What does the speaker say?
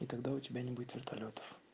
и тогда у тебя не будет вертолётов